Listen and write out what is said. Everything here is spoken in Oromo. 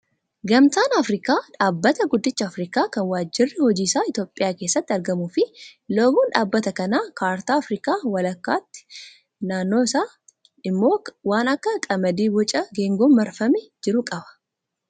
Gamtaan Afrikaa dhaabbata guddicha Afrikaa kan waajirri hojii isaa Itoophiyaa keessatti argamuu fi loogoon dhaabbata kanaa kaartaa Afrikaa walakkaatti naannoo isaatti immoo waan akka qamadii Boca geengoon marfamee jiru qaba